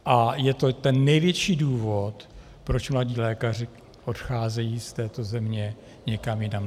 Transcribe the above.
A je to ten největší důvod, proč mladí lékaři odcházejí z této země někam jinam.